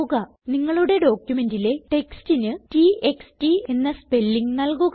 നിങ്ങളുടെ ഡോക്യുമെന്റിലെ textന് t x t എന്ന സ്പെല്ലിംഗ് നല്കുക